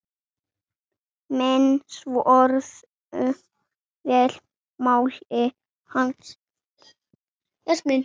Menn svöruðu vel máli hans.